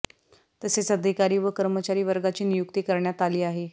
तसेच अधिकारी व कर्मचारी वर्गाची नियुक्ती करण्यात आली आहे